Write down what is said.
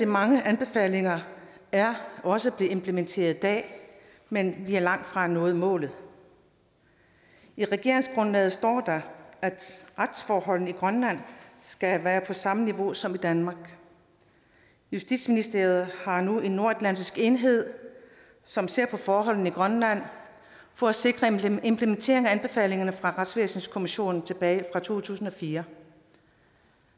mange anbefalinger er også blevet implementeret i dag men vi har langtfra nået målet i regeringsgrundlaget står der at retsforholdene i grønland skal være på samme niveau som i danmark justitsministeriet har nu en nordatlantisk enhed som ser på forholdene i grønland for at sikre en implementering af anbefalingerne fra retsvæsenskommissionen tilbage i to tusind og fire